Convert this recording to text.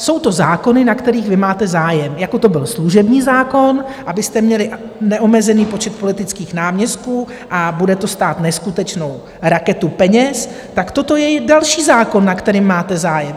Jsou to zákony, na kterých vy máte zájem, jako to byl služební zákon, abyste měli neomezený počet politických náměstků, a bude to stát neskutečnou raketu peněz, tak toto je další zákon, na kterém máte zájem.